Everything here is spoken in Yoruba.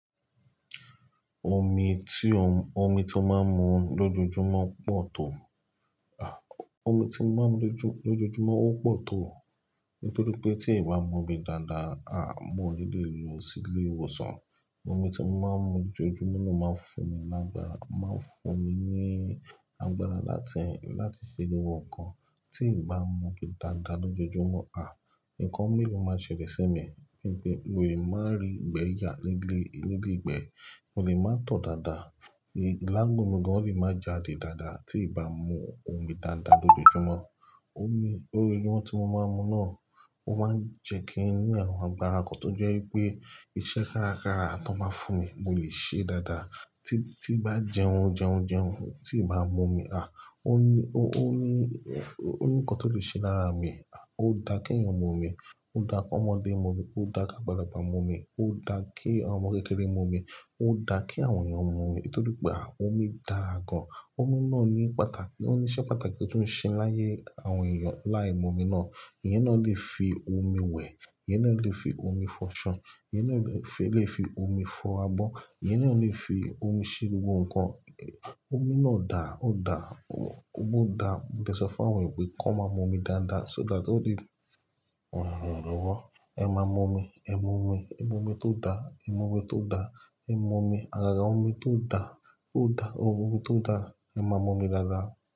Omi tí o, omi tí ó máa ń mu lójoojúmọ́ pọ̀ tó, a omi tí mo máa ń mu lo lójoojúmọ́ ó pọ̀ tó. Nítorí pé tí ì bá mu omi dáadáa, a mọ̀ ó ni léè lo sílé ìwòsàn. Òmi tí mo máa ń mu lójoojúmọ́ ni ó máa ń fún mi lágbára, o máa ń fún mi ní agbára láti, láti ṣe gbogbo ọ̀ǹkà. Tí ì bá mu omi dáadáa lójoojúmọ́, à, ǹkan imii ló máa ṣẹlẹ̀ sí mi? Mo lè máa rí ìgbẹ́ yà nílé, nílé ìgbẹ́, mo lè máa tọ̀ dáadáa, ilà gbò mí gan, ó lè máa ja'dì dáadáa tí ì bá mu omi dáadáa lójoojúmọ́. Lójojúmọ́ tí mo máa ń mu náà, ó máa ń jẹ́ kí n ní àwọn agbára kan tó jẹ́ wípé iṣẹ́ kárakára tó bá fún mi, mo lè ṣe é dáadáa. Tí, tí bá jẹun, jẹun, jẹun, tí ì bá mu omi, à, ó ní, ó ní, ó ní ǹkan tó lè ṣe lára mi. Ó dà kí èèyàn mu omi, ó dà kí ọmọdé mu omi, ó dà kí àgbàlagbà mu omi, ó dà kí àwọn ọmọ kékeré mu omi, ó dà kí àwọn èèyàn mu omi. Nítorí pé à, omi dára gan. Omi náà ní pàtàkì, ó ní iṣẹ́ pàtàkì tó ń ṣe láyé àwọn èèyàn láì mu omi náà. Eyẹn náà lè fi omi wẹ̀, eyẹn náà lè fi omi fọ. Ṣo, eyẹn náà lè fi omi fọ abọ́, ìyẹn náà lè fi omi ṣe gbogbo ǹkan. Omi náà dà, ó dà, ó gbó dà. Mo dà ẹ sọ fá wẹ̀ wípé kó máa mu omi dáadáa so that all these òun òún ríwọ́. Ẹ máa mu omi, ẹ mu omi, ẹ mu omi tó dà, ẹ mu omi tó dà, ẹ mu omi. Àgàgà omi tó dà, ó dà, omi tó dà, ẹ máa mu omi dáadáa.